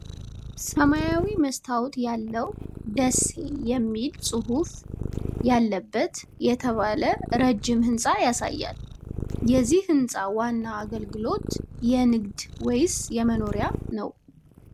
ሰማያዊ መስታወት ያለው "ደሲ የሚል ጹህፍ ያለበት " የተባለ ረጅም ህንጻ ያሳያል። የዚህ ህንጻ ዋና አገልግሎት የንግድ ወይስ የመኖሪያ ነው?